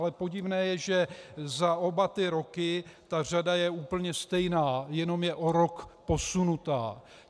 Ale podivné je, že za oba ty roky ta řada je úplně stejná, jenom je o rok posunutá.